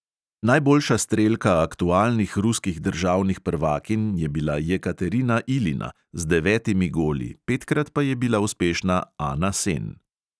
Najboljša strelka aktualnih ruskih državnih prvakinj je bila jekaterina ilina z devetimi goli, petkrat pa je bila uspešna ana sen.